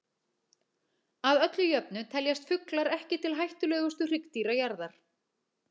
Að öllu jöfnu teljast fuglar ekki til hættulegustu hryggdýra jarðar.